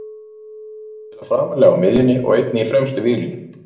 Hann getur spilað framarlega á miðjunni og einnig í fremstu víglínu.